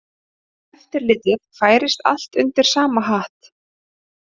Eftirlitið færist allt undir sama hatt